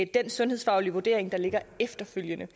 den sundhedsfaglige vurdering der ligger efterfølgende